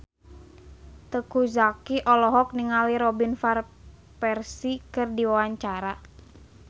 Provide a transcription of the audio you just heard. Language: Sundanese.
Teuku Zacky olohok ningali Robin Van Persie keur diwawancara